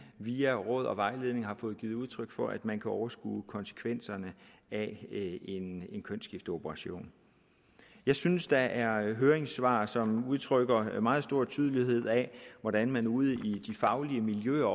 via råd og vejledning har givet udtryk for at man kan overskue konsekvenserne af en kønsskifteoperation jeg synes der er høringssvar som udtrykker meget stor tydelighed af hvordan man ude i de faglige miljøer